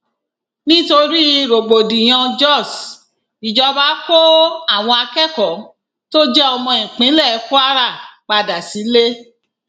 nítorí rògbòdìyàn jós ìjọba kó àwọn akẹkọọ tó jẹ ọmọ ìpínlẹ kwara padà sílé